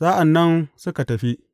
Sa’an nan suka tafi.